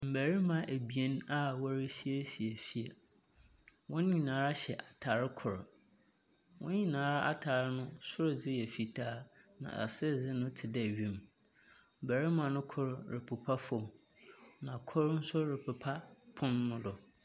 Mmarima abien a wɔresiesie fie. Hɔn nyinaa hyɛ atar kor. Hɔn nyinaa atar no, sor dze yɛ fitaa, na ase dze no te dɛ wim. Barima no kor repepa fam, na kor nso repepa pon no do.